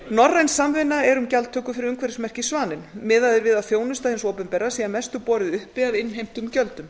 norræn samvinna er um gjaldtöku fyrir umhverfismerkið svaninn miðað er við að þjónusta hins opinbera sé að mestu borið uppi af innheimtum gjöldum